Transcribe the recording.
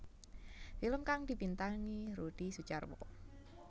Film kang dibintangi Rudi Sudjarwo